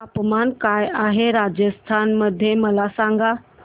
तापमान काय आहे राजस्थान मध्ये मला सांगा